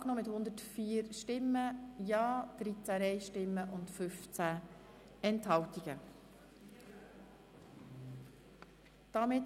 Sie haben den Änderungen mit 104 Ja- gegen 13 Nein-Stimmen bei 15 Enthaltungen zugestimmt.